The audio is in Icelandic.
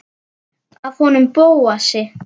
Af honum Bóasi?